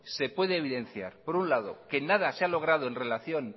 se puede evidenciar por un lado que nada se ha logrado en relación